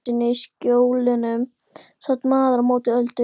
Einu sinni í Skjólunum sat maðurinn á móti Öldu.